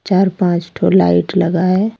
चार पांच ठो लाइट लगा है।